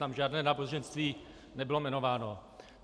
Tam žádné náboženství nebylo jmenováno.